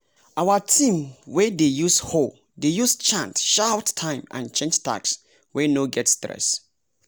our team wey dey use hoe dey use chant shout time and change tasks wey no get stress.